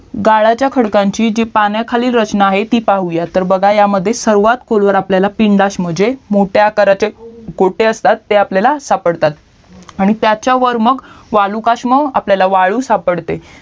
गाळाच्या खडकांची जी पाण्याखाली जी रचना आहे ती पाहुयात तर बघा ह्या मध्ये सर्वात खोलवर आपल्याला पिंडस्म जे मोठ्या आकाराचे कोठे असतात ते आपल्याला सापडतात आणि त्याच्यावर मंग वाळूकस्म आपल्याला वाळू सापडते